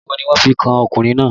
Ẹ̀sùn wo ni wọ́n fi kan ọkùnrin náà